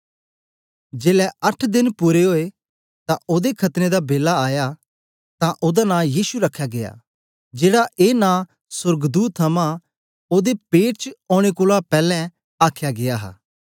जेलै अट्ठ देन पूरे ओए तां ओदे खतने दा बेला आया तां ओदा नां यीशु रखया गीया जेड़ा ए नां सोर्गदूत थमां ओदे पेट च औने कोलां पैलैं आख्या गीया हा